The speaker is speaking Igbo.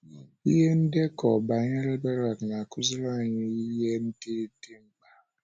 Ihe ndekọ banyere Berak na - akụziri anyị ihe ndị dị mkpa.